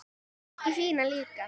Ég þekki þína líka.